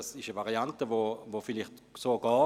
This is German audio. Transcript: Diese Variante ist vielleicht machbar.